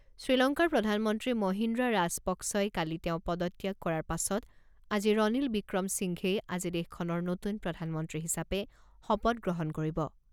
শ্ৰীলংকাৰ প্ৰধানমন্ত্ৰী মহিন্দ্ৰা ৰাজাপক্‌ছই কালি তেওঁ পদত্যাগ কৰাৰ পাছত আজি ৰনিল ৱিক্ৰম সিংঘেই আজি দেশখনৰ নতুন প্ৰধানমন্ত্ৰী হিচাপে শপত গ্ৰহণ কৰিব।